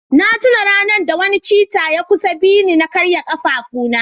na tuna ranar da wani cheetah ya kusa bi ni na karya kafafuna